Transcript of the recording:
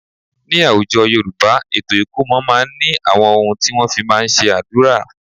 Ní àwùjọ Yorùbá, ètò ikomo máa ń ní àwọn ohun tí wọ́n fí máa ń ṣe àdúrà.